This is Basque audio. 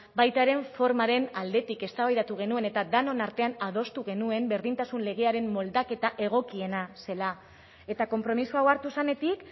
baita ere formaren aldetik eztabaidatu genuen eta denon artean adostu genuen berdintasun legearen moldaketa egokiena zela eta konpromiso hau hartu zenetik